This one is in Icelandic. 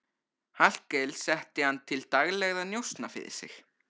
Hallkel setti hann til daglegra njósna fyrir sig.